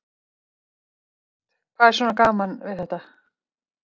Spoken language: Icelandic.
Elísabet: Hvað er svona gaman við þetta?